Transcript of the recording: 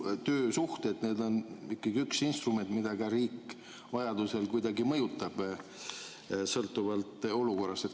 Töösuhted on ikkagi üks instrumente, millega riik vajaduse korral kuidagi mõjutab, sõltuvalt olukorrast.